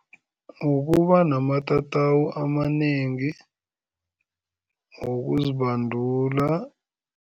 Ukuba namatatawu amanengi wokuzibandula.